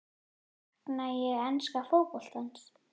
Sakna ég enska fótboltans?